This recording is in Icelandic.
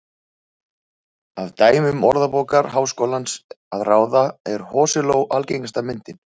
Af dæmum Orðabókar Háskólans að ráða er hosiló algengasta myndin.